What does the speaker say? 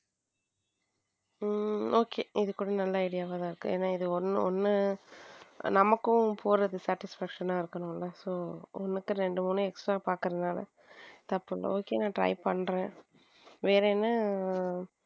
Okay இது கூட நல்ல idea வா தான் இருக்கு என ஒன்னு ஒன்னு நமக்கும் போறது satisfaction இருக்கணும் இல்ல சோ ஒன்னுக்கு ரெண்டு மூணு extra பார்க்கிறதுனால தப்பு இல்ல okay நான் try பண்றேன வேற என்ன.